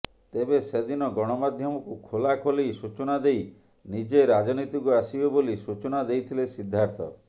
ତେବେ ସେଦିନ ଗଣମାଧ୍ୟମକୁ ଖୋଲା ଖୋଲି ସୂଚନା ଦେଇ ନିଜେ ରାଜନୀତିକୁ ଆସିବେ ବୋଲି ସୂଚନା ଦେଇଥିଲେ ସିଦ୍ଧାର୍ଥ